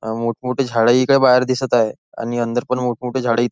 अ मोठ मोठी झाडं ही काय बाहेर दिसत आहे आणि अंदर पण मोठमोठी झाडी--